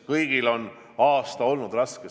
Kõigile on aasta olnud raske.